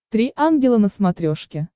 три ангела на смотрешке